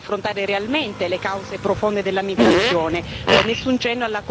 Nessuna misura volta ad affrontare realmente le cause profonde della migrazione